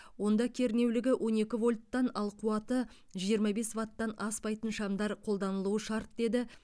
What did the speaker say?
онда кернеулігі он екі вольттан ал қуаты жиырма бес ваттан аспайтын шамдар қолданылуы шарт деді